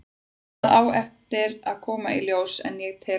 Það á eftir að koma í ljós en ég tel það.